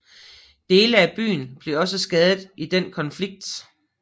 Dele af byen blev også skadet i den konflikt